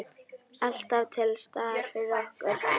Alltaf til staðar fyrir okkur.